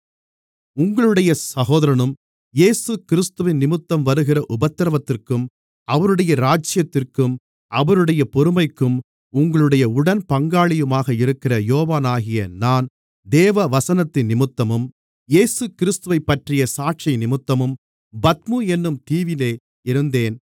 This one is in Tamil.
உங்களுடைய சகோதரனும் இயேசுகிறிஸ்துவினிமித்தம் வருகிற உபத்திரவத்திற்கும் அவருடைய ராஜ்யத்திற்கும் அவருடைய பொறுமைக்கும் உங்களுடைய உடன்பங்காளியுமாக இருக்கிற யோவானாகிய நான் தேவவசனத்தினிமித்தமும் இயேசுகிறிஸ்துவைப்பற்றிய சாட்சியினிமித்தமும் பத்மு என்னும் தீவிலே இருந்தேன்